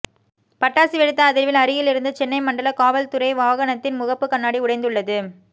பட்டாசு வெடித்த அதிா்வில் அருகில் இருந்த சென்னை மண்டல காவல் துறை வாகனத்தின் முகப்பு கண்ணாடி உடைந்துள்ளது